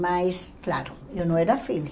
Mas, claro, eu não era filha.